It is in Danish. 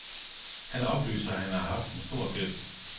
Han oplyser, at han har haft en stor gæld.